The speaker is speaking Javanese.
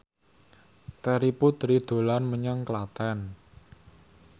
Terry Putri dolan menyang Klaten